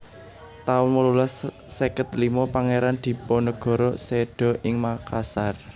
taun wolulas seket limo Pangéran Dipanegara séda ing Makassar